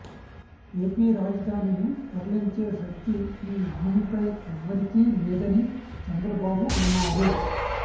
AP రాజధానిని తరలించే శక్తి ఈ భూమిపై ఎవ్వరికీ లేదని చంద్రబాబు అన్నారు